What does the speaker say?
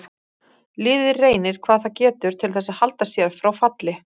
Liðið reynir hvað það getur til þess að halda sér frá falli.